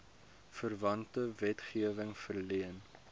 verwante wetgewing verleen